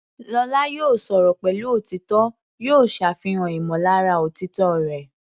Lọ́la, yóò sọ̀rọ̀ pẹ̀lú òtítọ́, yóò ṣàfihàn ìmọ̀lára òtítọ́ rẹ̀.